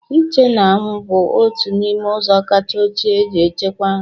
Ịche n'anwụ bụ otu n'ime ụzọ kacha ochie e ji echekwa nri